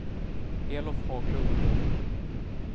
Elof Haglund